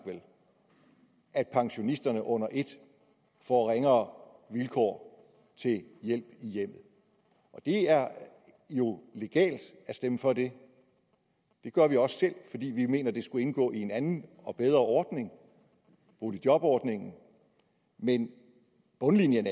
at pensionisterne under et får ringere vilkår til hjælp i hjemmet det er jo legalt at stemme for det det gør vi også selv fordi vi mener at det skulle indgå i en anden og bedre ordning boligjobordningen men bundlinjen